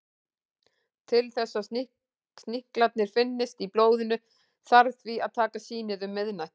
Til þess að sníklarnir finnist í blóðinu þarf því að taka sýnið um miðnætti.